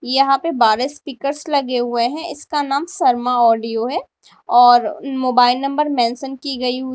यहां पे बारह स्पीकर्स लगे हुए है इसका नाम शर्मा ऑडियो है और मोबाइल नंबर मेंशन की गई--